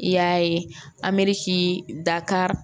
I y'a ye amɛri ti da ka